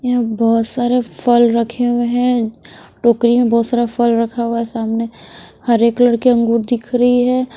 यहाँ बहुत सारे फल रखे हुए हैं टोकरी में बहुत सारा फल रखा हुआ है सामने हरे कलर के अंगूर दिख रही है।